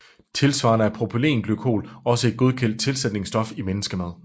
Tilsvarende er propylenglykol også et godkendt tilsætningsstof i menneskemad